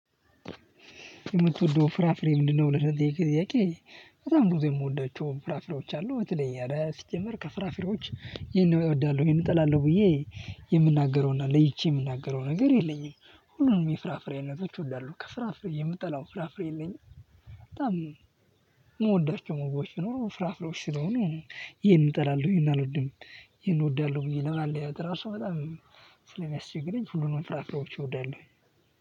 የምትወደው ፍራፍሬ ምንድነው? ለሚለው ጥያቄ በጣም ብዙ የምወዳቸው ፍራፍሬዎች አሉ በተለይ አረ ሲጀመር ከፍራፊሮች ይሄን እወዳለሁ ይሄን እጠላለሁ ብዬ የምናገረውና ለይቼ የምናገረው ነገር የለኝም። ሁሉንም የፍራፍሬነቶች እወዳለሁ ከፍራፍሬ የምጠላው ፍራፍሬ የለኝም። በጣም መግባታቸው ፍራፍሮች ስለሆኑ ይሄን እጠላለሁ ይሄን እወዳለሁ ብዬ ለምን አለው ያው ራሱ በጣም ስለሚያስቸግረኝ ሁሉንም ፍራፍሬዎች እወዳለሁ።